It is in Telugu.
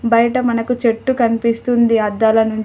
బయట మనకు చెట్టు కనిపిస్తుంది అద్దాల నుంచి.